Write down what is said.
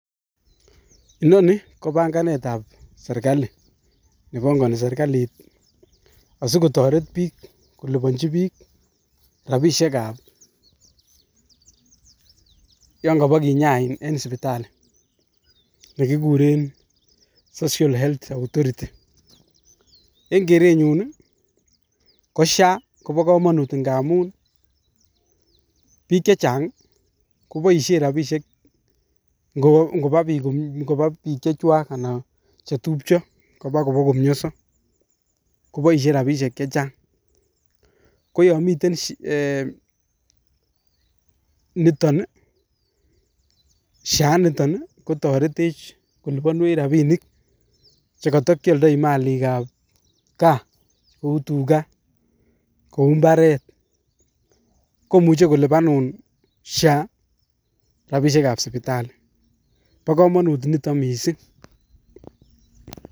inoni ko panganetab serkali, nebongoni serkalit asikotoret bik koliponyii book rabisiekab yon kaapakinyain eng sibitali che kikureen SHA, eng kerenyun I ko Niton komo komonut ngamun biik chechang koboishien rabishek ngoba biik chechwak anan KO chetupcho ngwo komioso komoishie rabinik chechang koyomiten SHA, kotoretech koliponuech rabinik chekotokioldoi Malik gaa kou tugaa ak mbaret komuche kolipanun Sha rabishek ab sipitalii. Bo komonut nitok missing